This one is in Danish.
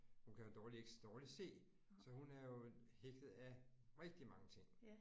Hun kan jo dårligt ikke dårligt se. Så hun er jo hægtet af rigtig mange ting